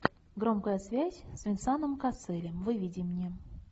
громкая связь с венсаном касселем выведи мне